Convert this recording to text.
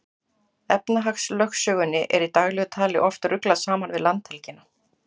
Efnahagslögsögunni er í daglegu tali oft ruglað saman við landhelgina.